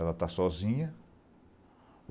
Ela está sozinha.